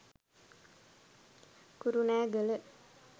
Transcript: kurunegala